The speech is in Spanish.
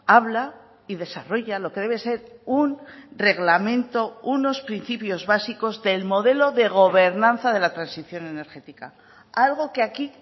habla y desarrolla lo que debe ser un reglamento unos principios básicos del modelo de gobernanza de la transición energética algo que aquí